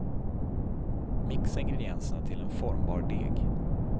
Mixa ingredienserna till en formbar deg.